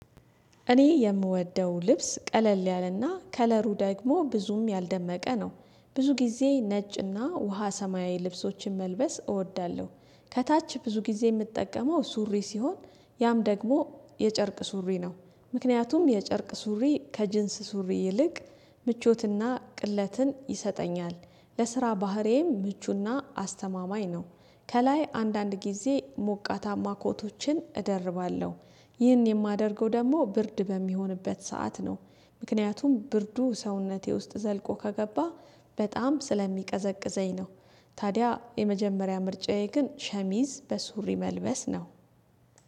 እኔ የምወደው ልብስ ቀለል ያለና ከለሩ ደግሞ ብዙም ያልደመቀ ነው ብዙ ጊዜ ነጭና ውሃ ሰማያዊ ልብሶችን መልበስ እወዳለሁ። ከታች ብዙ ጊዜ የምጠቀመው ሱሪ ሲሆን ያም ደግሞ የጨርቅ ሱሪ ነው። ምክንያቱም የጨርቅ ሱሪ ከጅንስ ሱሪ ይልቅ ምቾትና ቅለትን ይሰጠኛል። ለስራ ባህሬም ምቹና አስተማማኝ ነው። ከላይ አንዳንድ ጊዜ ሞቃታማ ኮቶችን እደርባለሁ። ይህን የማደርገው ደግሞ ብርድ በሚሆንበት ሰዓት ነው። ምክንያቱም ብርዱ ሰውነቴ ውስጥ ዘልቆ ከገባ በጣም ስለሚቀዘቅዘኝ ነው። ታዲያ የመጀመሪያ ምርጫዬ ግን ሸሚዝ በሱሪ መልበስ ነው